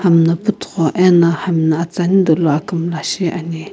hami jo püthugho ena hami no atsani dolo akumlla shicheni.